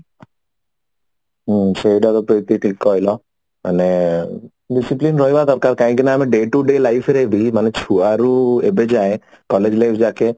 ହୁଁ ସେଇଟା ଗୋଟେ ପ୍ରିତି ଠିକ କହିଲ ମାନେ ଡdicipline ରହିବା ଦର୍କାର କାହିଁକି ନା ଆମେ day to day life ରେ ବି ମାନେ ଛୁଆଡୁ ଏବେ ଯାଏଁ collage life ଯାକେ